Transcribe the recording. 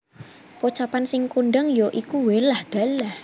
Pocapan sing kondang ya iku Wé lah dalah